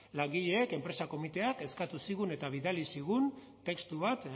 langileek enpresa komiteak eskatu zigun eta bidali zigun testu bat